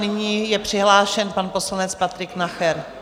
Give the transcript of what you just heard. Nyní je přihlášen pan poslanec Patrik Nacher.